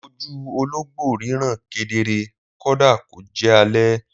Ojú ológbò ríran kedere kódà kó jẹ́ alẹ́